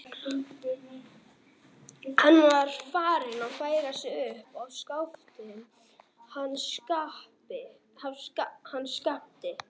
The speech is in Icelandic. Hann var farinn að færa sig upp á skaftið hann Skapti.